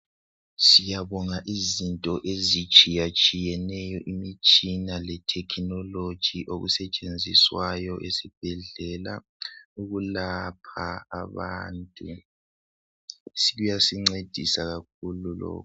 Siyabonga izinto ezitshiyatshiyeneyo imitshina letechnology okusetshenziswayo ezibhedlela ukulapha abantu kuyasincedisa kakhulu lokhu.